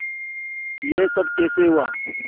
यह सब कैसे हुआ